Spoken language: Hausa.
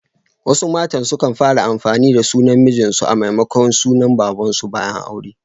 Wasu matan sukan fara amfani da sunan mijin su a maimakon na baban su bayan aure.